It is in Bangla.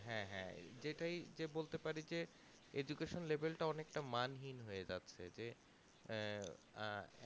হ্যাঁ হ্যাঁ যে যেটাই বলতে পারি যে education level তা অনেকটা মান হীন হয়ে যাচ্ছে যে এ আহ